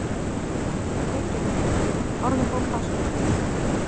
Reykjavík, Orðabók Háskólans.